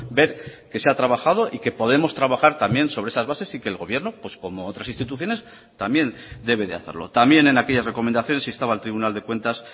ver que se ha trabajado y que podemos trabajar también sobre esas bases y que el gobierno como otras instituciones también debe de hacerlo también en aquellas recomendaciones estaba el tribunal de cuentas